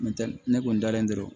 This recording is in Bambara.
N tɛ ne kun dalen do